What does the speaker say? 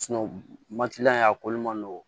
a koli man nɔgɔn